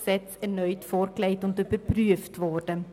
steht, erneut vorgelegt und überprüft worden.